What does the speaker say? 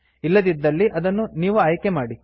ಇಲ್ಲದಿದ್ದಲ್ಲಿ ಅದನ್ನು ನೀವು ಆಯ್ಕೆಮಾಡಿ